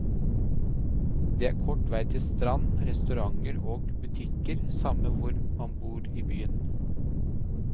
Det er kort vei til strand, restauranter og butikker samme hvor man bor i byen.